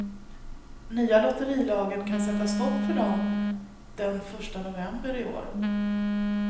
Nya lotterilagen kan sätta stopp för dem den första november i år.